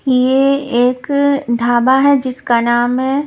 ये एक धाबा है जिसका नाम है --